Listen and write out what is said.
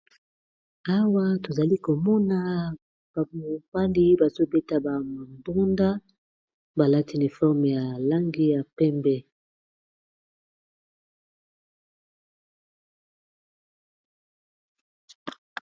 awa tozali komona bampandi bazobeta bambunda balatineforme ya langi ya pembe